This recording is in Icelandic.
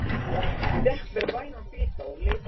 Ég fékk mér vænan bita og leit yfir dæmin.